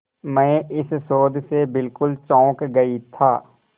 मैं इस शोध से बिल्कुल चौंक गई था